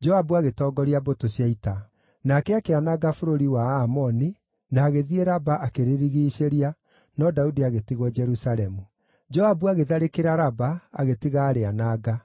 Joabu agĩtongoria mbũtũ cia ita. Nake akĩananga bũrũri wa Aamoni, na agĩthiĩ Raba akĩrĩrigiicĩria, no Daudi agĩtigwo Jerusalemu. Joabu agĩtharĩkĩra Raba agĩtiga aarĩananga.